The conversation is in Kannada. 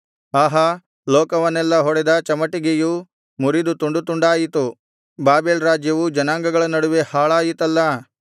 ಆಹಾ ಲೋಕವನ್ನೆಲ್ಲಾ ಹೊಡೆದ ಚಮಟಿಗೆಯು ಮುರಿದು ತುಂಡುತುಂಡಾಯಿತು ಬಾಬೆಲ್ ರಾಜ್ಯವು ಜನಾಂಗಗಳ ನಡುವೆ ಹಾಳಾಯಿತಲ್ಲಾ